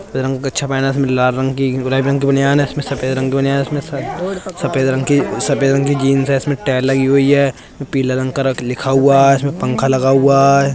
सफेद रंग का कच्छा पहना है उसमें लाल रंग की गुलाबी रंग की बनियान है उसमें सफेद रंग की बनियान है। उसमें सफेद रंग की बनियान है। उसमें सफेद रंग की जींस है। इसमें टाइल लगी हुई है। उ पीले रंग का कुछ लिखा हुआ है। इसमें पंखा लगा हुआ है।